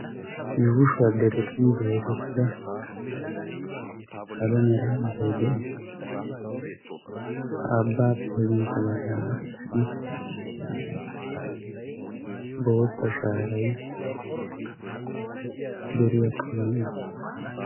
yuushuwaa deretun dooddettida salo meera abbay de'ees. ha abbaappe sintta baggaara qassi bootta shaaray deriyaa kaammi uttiis.